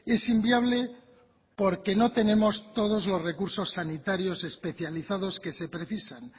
es inviable porque no tenemos todos los recursos sanitarios especializados que se precisan